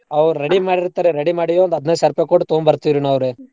ಅವ್ರ್ ready ಮಾಡಿರ್ತಾರಿ ready ಮಾಡಿದ್ ಒಂದ್ ಹದ್ನೈದ್ ಸಾವ್ರ್ರೂಪಾಯ್ ಕೊಟ್ ತಗೊಂಬರ್ತ್ತೇವ್ರೀ ನಾವ್ರೀ.